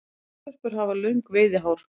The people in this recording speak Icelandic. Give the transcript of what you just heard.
Moldvörpur hafa löng veiðihár.